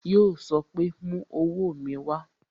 Yo sọ pé "Mú owó ẹyọ mi wá"